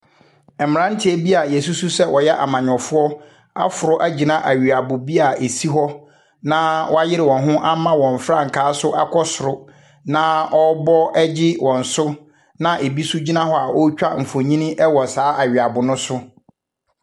Mmeranteɛ bi a yɛsusu sɛ wɔyɛ amanyɔfoɔ aforo agyina aweabo bi a ɛsi hɔ, na wɔayere wɔn ho ama wɔn frankaa so akɔ soro, na wɔrebɔ gye wɔn so, na bi nso gyina hɔ a ɔretwa mfonini wɔ saa aweabo ne so.